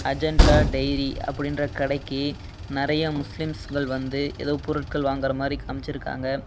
Agenda diary அப்படின்ற கடைக்கு நெறைய முஸ்லீம்ஸ்ஸுகள் வந்து ஏதோ பொருட்கள் வாங்குற மாரி காமிச்சிருக்காங்க.